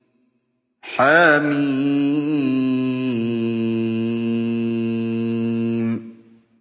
حم